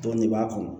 Dɔnni b'a kɔnɔ